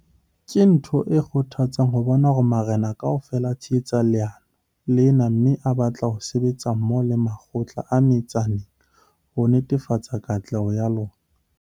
Ke ntho e kgothatsang ho bona hore marena kaofela a tshehetsa leano lena mme a batla ho sebetsa mmoho le makgotla a metsaneng ho netefatsa katleho ya lona.